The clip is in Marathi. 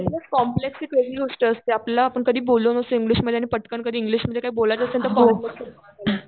कॉम्प्लेक्स एक वेगळी गोष्ट असते आपल्याला आपण कधी बोललेलो नसतो इंग्लिश मध्ये आणि पटकन इंग्लिशमध्ये कधी काही बोलायचं असेल तर